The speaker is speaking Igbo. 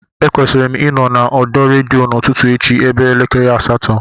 Ekwesịrị m ịnọ n'ọdọ redio n'ụtụtụ echi ebe elekere asatọ